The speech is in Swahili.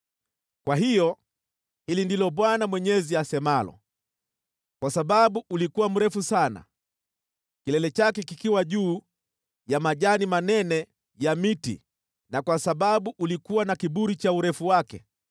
“ ‘Kwa hiyo hili ndilo Bwana Mwenyezi asemalo: Kwa sababu ulikuwa mrefu sana, kilele chake kikiwa juu ya majani manene ya miti na kwa sababu ulikuwa na kiburi cha urefu wake,